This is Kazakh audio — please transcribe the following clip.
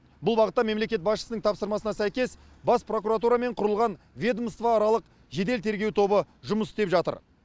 бұл бағытта мемлекет басшысының тапсырмасына сәйкес бас прокуратурамен құрылған ведомствааралық жедел тергеу тобы жұмыс істеп жатыр